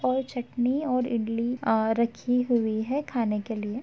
और चटनी और इडली आ रखी हुई हैं खाने के लिए।